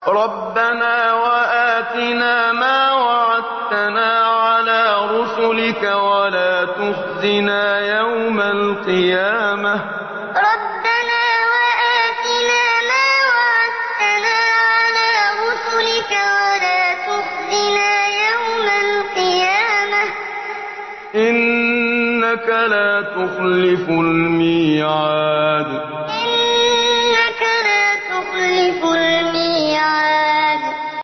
رَبَّنَا وَآتِنَا مَا وَعَدتَّنَا عَلَىٰ رُسُلِكَ وَلَا تُخْزِنَا يَوْمَ الْقِيَامَةِ ۗ إِنَّكَ لَا تُخْلِفُ الْمِيعَادَ رَبَّنَا وَآتِنَا مَا وَعَدتَّنَا عَلَىٰ رُسُلِكَ وَلَا تُخْزِنَا يَوْمَ الْقِيَامَةِ ۗ إِنَّكَ لَا تُخْلِفُ الْمِيعَادَ